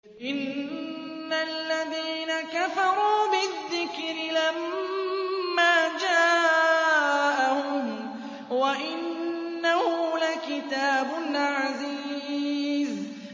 إِنَّ الَّذِينَ كَفَرُوا بِالذِّكْرِ لَمَّا جَاءَهُمْ ۖ وَإِنَّهُ لَكِتَابٌ عَزِيزٌ